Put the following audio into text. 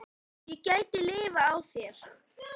Ég gæti lifað á þeim.